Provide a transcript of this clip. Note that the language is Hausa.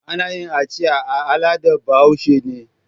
Ana yin aciya al'adan Bahaush. ne